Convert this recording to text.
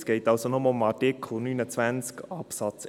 Es geht also nur um Artikel 29 Absatz